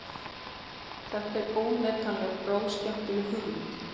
Þetta er óneitanlega bráðskemmtileg hugmynd